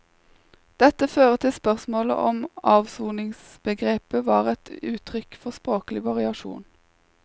Dette fører til spørsmålet om avsoningsbegrepet var et uttrykk for språklig variasjon.